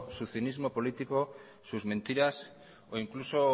su cinismo político sus mentiras o incluso